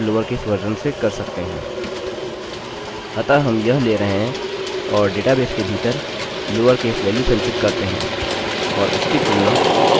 अतः हम यह ले रहे हैं और डेटाबेस के भीतर लोअरकेस वेल्यू संचित करते हैं और उसकी तुलना टाइप की हुई वेल्यू के साथ करते हैं जोकि लोअरकेस में भी बदली गई हैं